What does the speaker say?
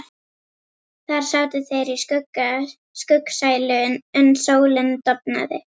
Þar sátu þeir í skuggsælu uns sólin dofnaði.